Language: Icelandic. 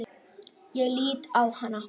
Ég lít á hana.